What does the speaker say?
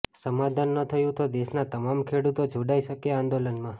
સમાધાન ન થયું તો દેશના તમામ ખેડૂતો જોડાઇ શકે આંદોલનમાં